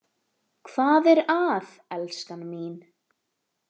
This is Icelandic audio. Hvað er að elskan mín?